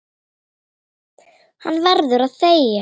Hann verður að þegja.